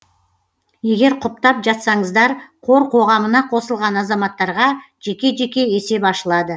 егер құптап жатсаңыздар қор қоғамына қосылған азаматтарға жеке жеке есеп ашылады